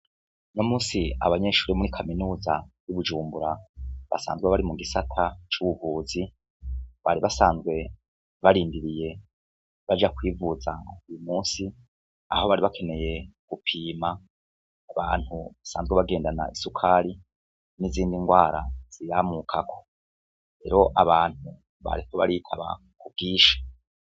Uno musi abanyeshuri bo muri kaminuza ya bujumbura basanzwe bari mu gisata c'ubuvuzi bari basanzwe barindiriye abaje kwivuza, uyu musi aho bari bakeneye gupima abantu basanzwe bagendana isukari n'izindi ngwara ziyamukako rero abantu bariko baritaba k'ubwinshi.